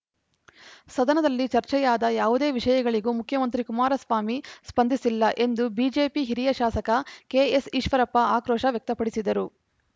ಸದನದಲ್ಲಿ ಚರ್ಚೆಯಾದ ಯಾವುದೇ ವಿಷಯಗಳಿಗೂ ಮುಖ್ಯಮಂತ್ರಿ ಕುಮಾರಸ್ವಾಮಿ ಸ್ಪಂದಿಸಿಲ್ಲ ಎಂದು ಬಿಜೆಪಿ ಹಿರಿಯ ಶಾಸಕ ಕೆಎಸ್‌ಈಶ್ವರಪ್ಪ ಆಕ್ರೋಶ ವ್ಯಕ್ತಪಡಿಸಿದರು